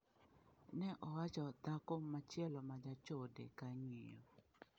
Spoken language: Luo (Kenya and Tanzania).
Ne owacho dhako machielo ma jachode ka ng’iyo.